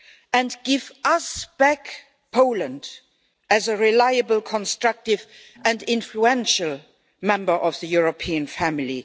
and give us back Poland as a reliable, constructive and influential member of the European family.